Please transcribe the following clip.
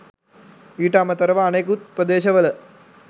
ඊට අමතරව අනෙකුත් ප්‍රදේශවල